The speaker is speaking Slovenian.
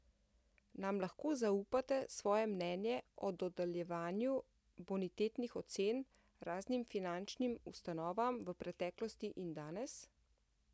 Nam lahko zaupate svoje mnenje o dodeljevanju bonitetnih ocen raznim finančnim ustanovam v preteklosti in danes?